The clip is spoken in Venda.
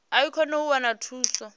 i kone u wana thuso